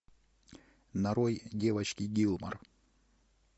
нарой девочки гилмор